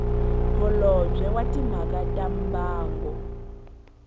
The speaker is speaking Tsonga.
holobye wa timhaka ta mbango